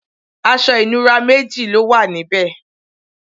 aṣọ ìnura méji lówà níbe